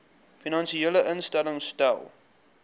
finansiële instellings stel